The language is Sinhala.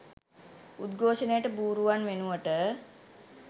උද්ඝෝෂණයට බූරුවන් වෙනුවට